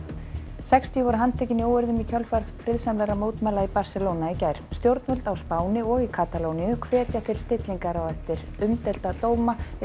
sextíu voru handtekin í óeirðum í kjölfar friðsamlegra mótmæla í Barcelona í gær stjórnvöld á Spáni og í Katalóníu hvetja til stillingar eftir umdeilda dóma yfir